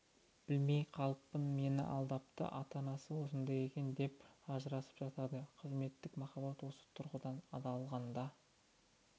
білмей қалыппын мені алдапты ата-анасы осындай екен деп ажырасып жатады қызметтік махаббат осы тұрғыдан алғанда